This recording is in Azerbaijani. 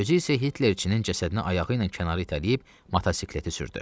Özü isə Hitlerçinin cəsədini ayağı ilə kənara itələyib motosikleti sürdü.